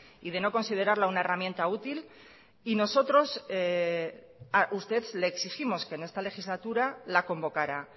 y de no considerarla una herramienta útil y nosotros a usted le exigimos que en esta legislatura la convocara